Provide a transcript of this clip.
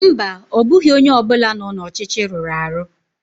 mba, ọ bụghị onye ọ bụla nọ n'ọchịchị rụrụ arụ